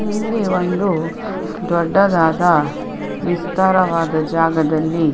ಇಲ್ಲಿ ಒಂದು ದೊಡ್ಡದಾದ ವಿಸ್ತಾರವಾದ ಜಾಗದಲ್ಲಿ .